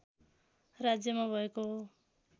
राज्यमा भएको हो